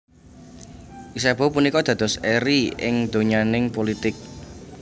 Isabeau punika dados eri ing donyaning pulitik